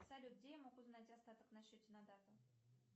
салют где я могу узнать остаток на счете на дату